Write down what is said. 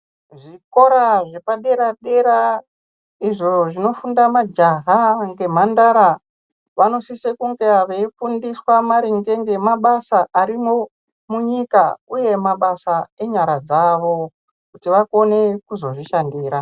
Zvikora zvepaderadera izvo zvinofunda majaha ngemhandara vanosisa kunga veifundiswa maringe ngemabasa arimo munyika uye mabasa enyara dzawo kuti vakone kuzozvishandira.